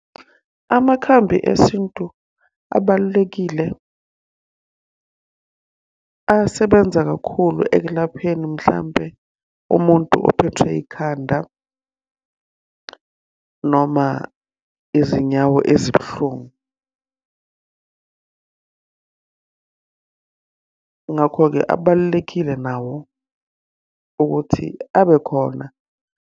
Amakhambi esintu abalulekile, asebenza kakhulu ekulapheni mhlampe umuntu ophethwe yikhanda noma izinyawo ezibuhlungu. Ngakho-ke abalulekile nawo ukuthi abe khona.